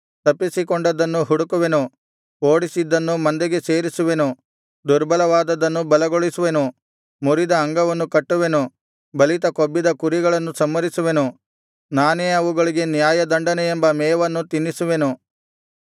ತಪ್ಪಿಸಿಕೊಂಡದ್ದನ್ನು ಹುಡುಕುವೆನು ಓಡಿಸಿದ್ದನ್ನು ಮಂದೆಗೆ ಸೇರಿಸುವೆನು ದುರ್ಬಲವಾದದ್ದನ್ನು ಬಲಗೊಳಿಸುವೆನು ಮುರಿದ ಅಂಗವನ್ನು ಕಟ್ಟುವೆನು ಬಲಿತ ಕೊಬ್ಬಿದ ಕುರಿಗಳನ್ನು ಸಂಹರಿಸುವೆನು ನಾನೇ ಅವುಗಳಿಗೆ ನ್ಯಾಯದಂಡನೆ ಎಂಬ ಮೇವನ್ನು ತಿನ್ನಿಸುವೆನು